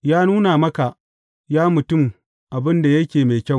Ya nuna maka, ya mutum, abin da yake mai kyau.